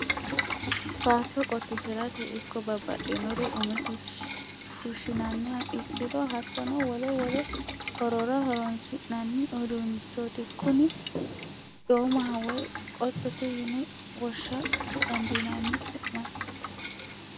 Baatto qotisirate ikko babbaxxinore ume fushinanniha ikkiro hattono wole wole horora horonsi'nanni uduunichoti kuni domaho woyi qottote yine woshsha dandiinanni su'masi.